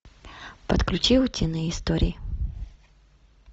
подключи утиные истории